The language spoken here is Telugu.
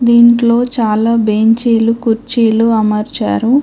దీంట్లో చాలా బెంచీలు కుర్చీలు అమర్చారు.